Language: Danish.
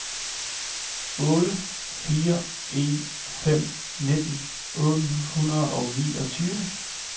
otte fire en fem nitten otte hundrede og niogtyve